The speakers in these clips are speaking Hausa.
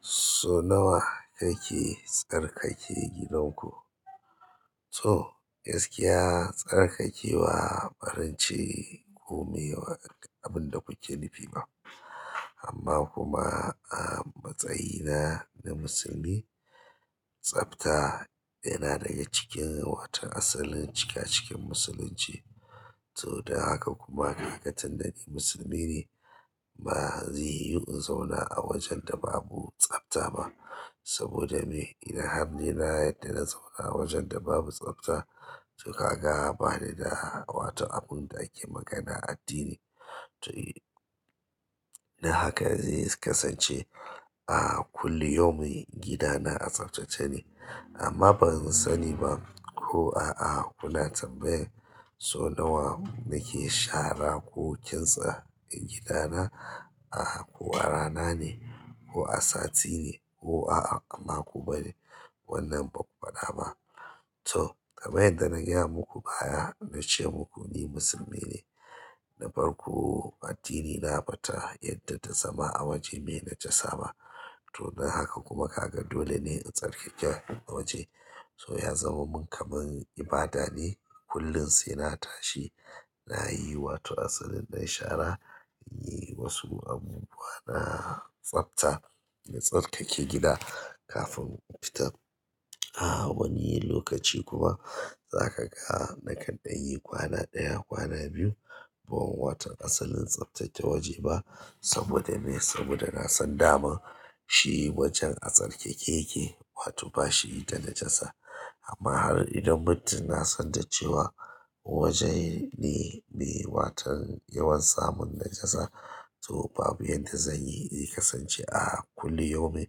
So nawa kake tsarkake gidanku? To gaskiya tsarkake bwa barin ce ko meye abin da kuke nufi ba, amma kuma a matsayina na musulmi, tsafta yana daga cikin watan asalin cika cikan musulunci. To dan haka kuma kaga tunda ni musulmi ne, ba zai yiwu in zauna a wajen da babu tsafta ba saboda me? In har ni na yadda na zauna a wajen da babu tsafta. To kaga ba ni da waton abun da ake magana addini. To, dan haka zai kasance a kulli yaumin gidana a tsaftace ne, amma ban sani ba ko a'a kuna tambayan sau nawa nake shara ko kintsa gidana, a ko a rana ne ko a sati ne ko a makon bane wannan ba ku faɗa ba. To kamar yadda na gaya muku baya na ce muku ni musulmi ne, na farko addinina bata yadda da zama a waje mai najasa ba. To dan haka kuma kaga dole ne in tsarkake waje. So ya zama min kamar ibada ne. Kullum sai na tashi, na yi wato asalin ɗan shara, in yi wasu abubuwa na tsafta na tsarkake gida kafin in fita. A wani lokaci kuma zaka ga na kan ɗan yi kwana ɗaya, kwana biyu, ban waton asalin tsaftace waje ba saboda me? Saboda na san dama shi wajen a tsarkake yake, wato ba shi da najasa. Amma har idan muddum na san da cewa waje ne me, watan yawan samun najasa, to babu yadda zan yi, zai kasance a kulli yaumin.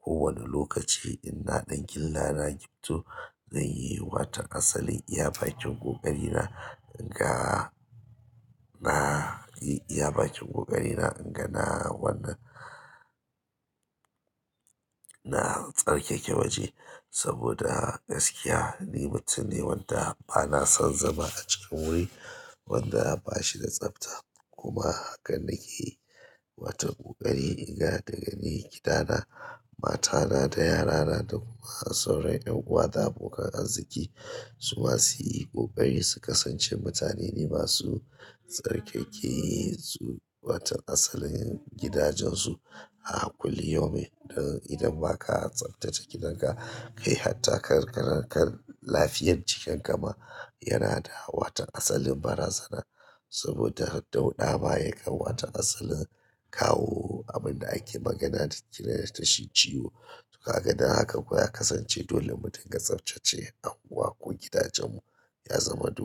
Ko wane lokaci in na ɗan gilla na gifto, zan yi waton asalin iya bakin ƙoƙarina in ga na, na yi iya bakin ƙoƙarina in ga na wannan na tsarkake waje saboda gaskiya ni mutum ne wanda bana son zama a cikin wuri wanda ba shi da tsafta. Kuma haka nake yi, wata ƙoƙari in ga daga ni gidana, matana da yarana da kuma sauran 'yan uwa da abokan arziki. Su masu yi ƙoƙari su kasance mutane ne masu tsarkake su, watan asalin gidajensu a kulli yaumin. Idan ba ka tsaftace gidanka kai hatta karkana, kan lafiyar jikin ka ma yana da wata asalin barazana saboda dauɗa ba ya kan wata asalin kawo abin da ake magana da ake ce da shi ciwo. To kaga dan haka kuwa ya kasance dole mu din ga tsaftace anguwa ko gidajenmu ya zama dole.